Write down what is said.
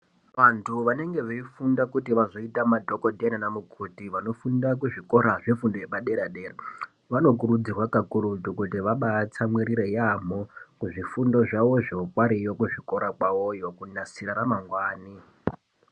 Vantu vanenge veifunda kuti vazoita mabasa madhokotera naanamukoti, vanofunda kuzvikora zvefundo yepadera-dera. Vanokurudzirwa kakurutu kuti ,vabaatsamwirira yaamho kuzvifundo zvavozvo, variyo kuzvikora kwavoyo, kunasira ramangwani.